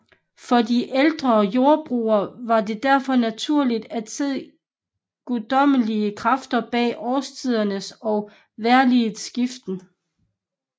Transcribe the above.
For de ældste jordbrugere var det derfor naturligt at se guddommelige kræfter bag årstidernes og vejrligets skiften